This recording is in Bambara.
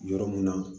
Yɔrɔ mun na